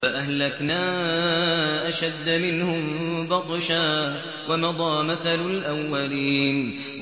فَأَهْلَكْنَا أَشَدَّ مِنْهُم بَطْشًا وَمَضَىٰ مَثَلُ الْأَوَّلِينَ